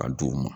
A d'u ma